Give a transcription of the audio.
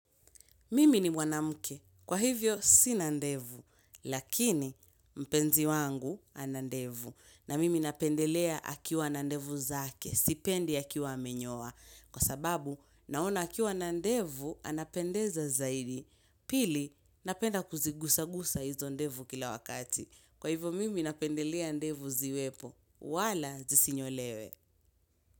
Mimi ni mwanamke Kwa hivyo sina ndevu Lakini mpenzi wangu ana ndevu na mimi napendelea akiwa na ndevu zake sipendi akiwa amenyoa Kwa sababu naona akiwa na ndevu anapendeza zaidi Pili napenda kuzigusagusa hizo ndevu kila wakati Kwa hivyo mimi napendelea ndevu ziwepo wala zisinyolewe.